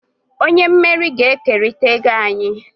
Onye mmeri ga-ekerịta ego anyị.